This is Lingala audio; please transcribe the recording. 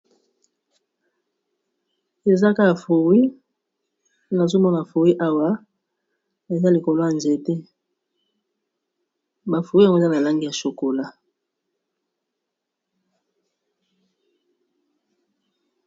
Eza kaka fruit nazomoma fruit awa eza likolo ya nzete ba fruit yango eza na langi ya chokola.